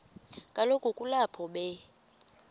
kaloku kulapho be